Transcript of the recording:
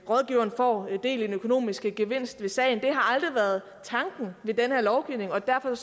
rådgiveren får del i den økonomiske gevinst ved sagen det har aldrig været tanken ved den her lovgivning og derfor